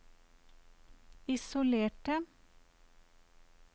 isolerte